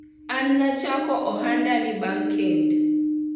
an nachako ohanda ni bang kend